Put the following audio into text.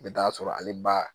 I bɛ taa sɔrɔ ale ba